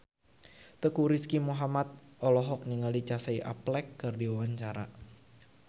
Teuku Rizky Muhammad olohok ningali Casey Affleck keur diwawancara